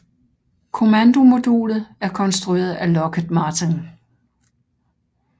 Kommandomodulet er konstrueret af Lockheed Martin